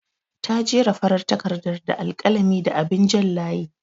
Ta jera farar takardar da alƙalami da abin jan layi.